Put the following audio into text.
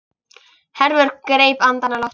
Hervör greip andann á lofti.